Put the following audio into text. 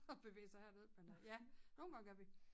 At bevæge sig herned men øh ja nogen gange gør vi